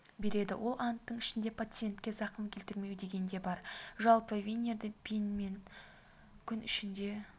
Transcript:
береді ол анттың ішінде пациентке зақым келтірмеу деген де бар жалпы винирді пен күн ішінде